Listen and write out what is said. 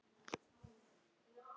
Var þetta svo í raun?